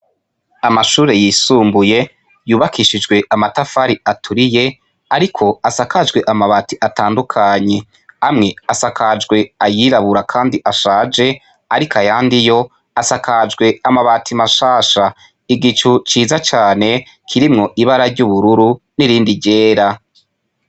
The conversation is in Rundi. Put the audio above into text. Amashure yisumbuye yubakishijwe amatafari aturiye, ariko asakajwe amabati atandukanye amwe asakajwe ayirabura, kandi ashaje, ariko ayandiyo asakajwe amabati mashasha igicu ciza cane kirimwo ibara ry'ubururu n'irindi ryera c.